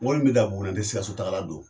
Mɔbili in be dan Buguni, n te Sikasso tagala don.